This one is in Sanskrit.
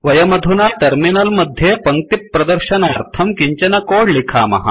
वयमधुना टर्मिनल मध्ये पङ्क्तिप्रदर्शनार्थं किञ्चन कोड लिखामः